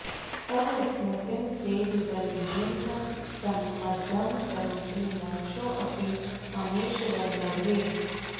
तव स्मृतिं चेद् गलयेन्न सम्मदं करोति मोक्षोऽपि ममेशवल्लभे